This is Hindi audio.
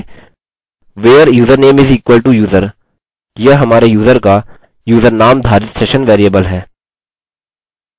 फिर हम टाइप करेंगे where username is equal to user यह हमारे यूजर का यूजर नाम धारित सेशन वेरिएबल है